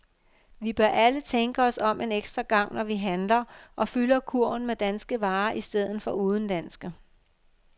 Vi bør alle tænke os om en ekstra gang når vi handler og fylder kurven med danske varer i stedet for udenlandske.